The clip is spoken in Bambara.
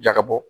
Jaga bɔ